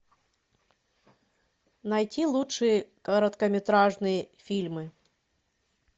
найти лучшие короткометражные фильмы